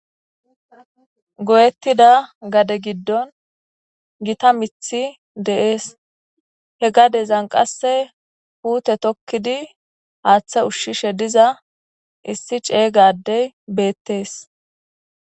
Goyetida gade gidon Gita mithi de'es. He gadan qase puute tokid Hatha ushishe diza issi cega adey betes .